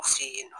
U fe yen nɔ